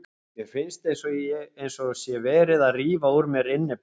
Mér finnst eins og sé verið að rífa úr mér innyflin.